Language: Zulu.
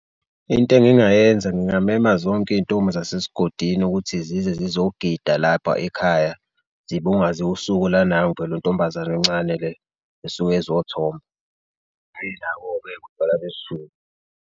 Into engingayenza ngingamema zonke izintombi zase sigodini ukuthi zize zizogida lapha ekhaya, zibungaze usuku la nangu phela untombazane encane le esuke izothomba utshwala besiZulu.